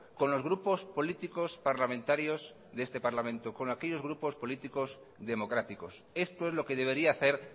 con los grupos políticos parlamentarios de este parlamento con aquellos grupo políticos democráticos esto es lo que debería hacer